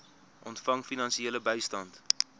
ontvang finansiële bystand